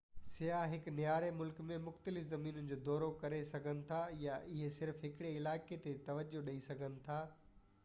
سياح هڪ نياري ملڪ ۾ مختلف زمينن جو دورو ڪري سگهن ٿا يا اهي صرف هڪڙي علائقي تي توجهہ ڏيئي سگهن ٿا